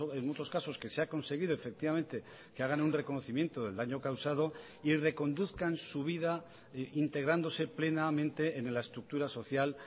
en muchos casos que se ha conseguido efectivamente que hagan un reconocimiento del daño causado y reconduzcan su vida integrándose plenamente en la estructura social